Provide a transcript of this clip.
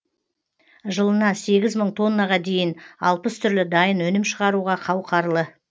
жылына сегіз мың тоннаға дейін алпыс түрлі дайын өнім шығаруға қауқарлы